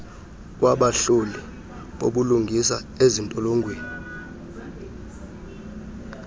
wabahloli bobulungisa ezintolongweni